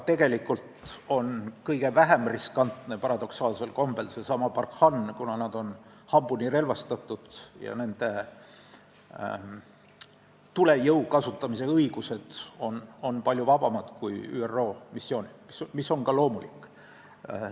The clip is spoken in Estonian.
Tegelikult on kõige vähem riskantne seesama Barkhane, kuna kaitseväelased on hambuni relvastatud ja nende tulejõu kasutamise õigused on palju vabamad kui ÜRO missioonil, mis on ka loomulik.